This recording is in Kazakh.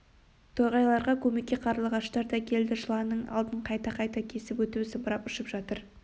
торғайларға көмекке қарлығаштар да келді жыланның алдын қайта-қайта кесіп өтіп зымырап ұшып жүр